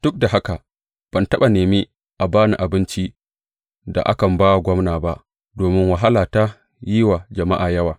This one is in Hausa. Duk da haka, ban taɓa nemi a ba ni abincin da akan ba wa gwamna ba, domin wahala ta yi wa jama’a yawa.